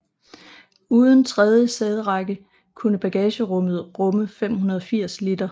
Uden tredje sæderække kunne bagagerummet rumme 580 liter